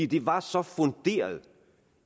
det var så funderet